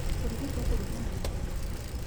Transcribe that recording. Kũrigitwo kũrigana na thĩna.